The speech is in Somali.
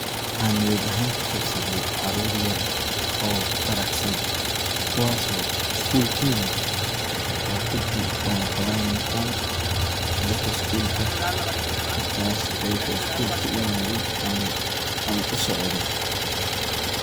Waxan niyad ahan kuqabsade carur yar oo faraxsan kuwas oo school kayimid oo kudi walaqaban uniform darka skulka markas ayago school kayimade ama usocdo.